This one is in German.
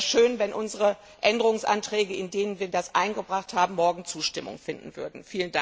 Es wäre schön, wenn unsere Änderungsanträge, mit denen wir das eingebracht haben, morgen Zustimmung finden würden.